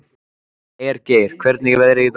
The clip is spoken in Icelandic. Hergeir, hvernig er veðrið í dag?